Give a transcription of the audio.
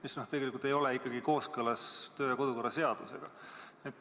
See ei ole tegelikult kooskõlas kodu- ja töökorra seadusega.